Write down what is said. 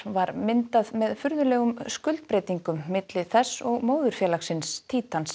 var myndað með furðulegum skuldbreytingum milli þess og móðurfélagsins